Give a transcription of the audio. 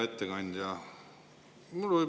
Hea ettekandja!